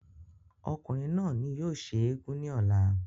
ọkùnrin náà ni yóò ṣe eégún ní ọ̀la